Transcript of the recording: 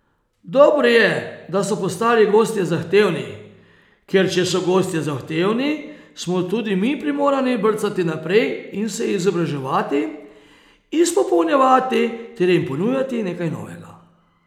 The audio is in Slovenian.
Dobro je, da so postali gostje zahtevni, ker če so gostje zahtevni, smo tudi mi primorani brcati naprej in se izobraževati, izpopolnjevati ter jim ponujati nekaj novega.